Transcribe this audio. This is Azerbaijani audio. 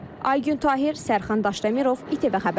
Aygün Tahir, Sərxan Daşdəmirov, İTV Xəbər.